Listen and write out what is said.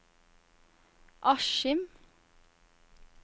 Askim